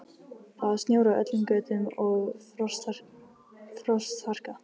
Það var snjór á öllum götum og frostharka.